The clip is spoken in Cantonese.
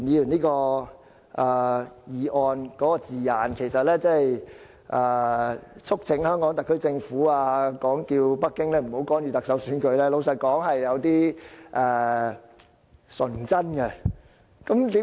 老實說，促請香港特區政府叫北京不要干預特首選舉，是有點純真的。